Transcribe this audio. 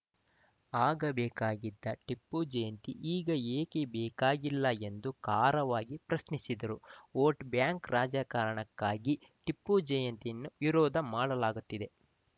ಆಗ ಬೇಕಾಗಿದ್ದ ಟಿಪ್ಪು ಜಯಂತಿ ಈಗ ಏಕೆ ಬೇಕಾಗಿಲ್ಲ ಎಂದು ಖಾರವಾಗಿ ಪ್ರಶ್ನಿಸಿದರು ವೋಟ್‌ ಬ್ಯಾಂಕ್‌ ರಾಜಕಾರಣಕ್ಕಾಗಿ ಟಿಪ್ಪು ಜಯಂತಿಯನ್ನು ವಿರೋಧ ಮಾಡಲಾಗುತ್ತಿದೆ